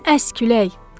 Sən əs külək!